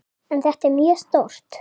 En þetta er mjög stórt.